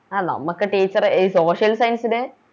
ആ നമക്ക് Teacher ഈ Social science ൻറെ